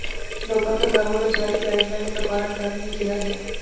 ਲੋਕਾਂ ਸਰਕਾਰ ਵੱਲੋਂ ਜਾਰੀ ਗਾਈਡਲਾਈਨਜ਼ ਦਾ ਪਾਲਣ ਕਰਨ ਲਈ ਕਿਹਾ ਗਿਆ